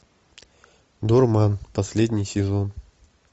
дурман последний сезон